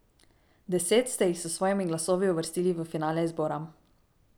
Deset ste jih s svojimi glasovi uvrstili v finale izbora.